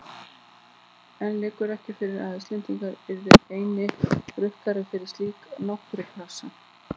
En liggur ekki fyrir að Íslendingar yrðu einnig rukkaðir fyrir slíka náttúrupassa?